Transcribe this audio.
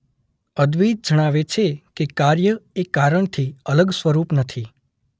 અદ્વૈત જણાવે છે કે કાર્ય એ કારણથી અલગ સ્વરૂપ નથી.